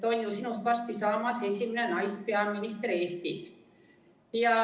On ju sinust varsti saamas esimene naispeaminister Eestis.